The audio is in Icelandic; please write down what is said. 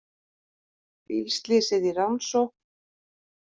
Bílslysið í rannsókn